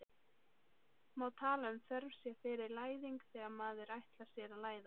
Má tala um þörf sé fyrir læðing þegar maður ætlar sér að læðast?